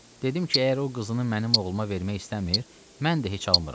Dedim ki, əgər o qızını mənim oğluma vermək istəmir, mən də heç almıram.